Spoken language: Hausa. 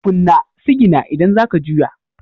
Kunna sigina idan za ka juya.